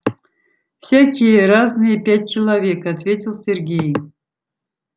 всякие разные пять человек ответил сергей